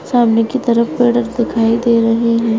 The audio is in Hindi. सामने की तरफ पेड़ दिखाई दे रहे है।